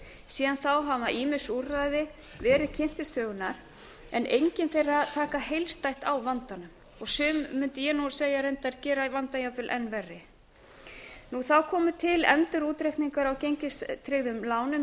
síðan þá hafa ýmis úrræði verið kynnt til sögunnar en engin þeirra taka heildstætt á vandanum og sum mundi ég segja reyndar gera vandann jafnvel enn verri þá komu til endurútreikningar á gengistryggðum lánum í